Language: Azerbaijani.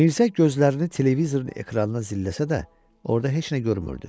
Mirzə gözlərini televizorun ekranına zilləsə də, orada heç nə görmürdü.